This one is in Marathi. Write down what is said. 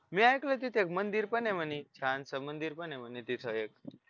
मी ऐकलंय तिथे एक मंदिर पण आहे म्हणे छानसं मंदिर पण ये म्हणे तिथे एक